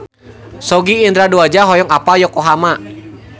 Sogi Indra Duaja hoyong apal Yokohama